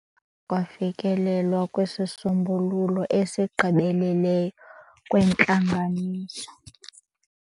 Akudanga kwafikelelwa kwisisombululo esigqibeleleyo entlanganisweni.